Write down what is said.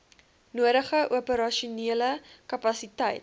nodige operasionele kapasiteit